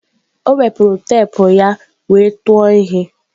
O wepụrụ teepu ya wee tụọ ihe.